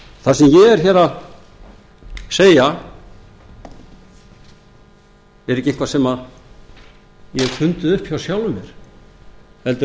það sem ég er hér að segja er ekki eitthvað sem ég hef fundið upp hjá sjálfum mér heldur